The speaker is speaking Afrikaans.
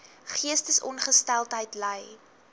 geestesongesteldheid ly